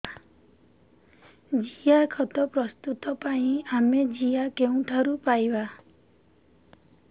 ଜିଆଖତ ପ୍ରସ୍ତୁତ ପାଇଁ ଆମେ ଜିଆ କେଉଁଠାରୁ ପାଈବା